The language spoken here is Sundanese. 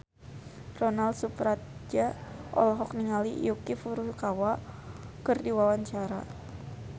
Ronal Surapradja olohok ningali Yuki Furukawa keur diwawancara